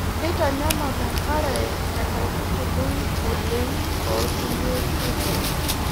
Keitanyamal enkare enkaitubului oleng tookulie oitoi.